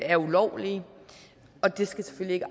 er ulovlige og det skal selvfølgelig